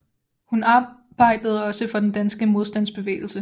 Hun arbejdede også for den danske modstandsbevægelse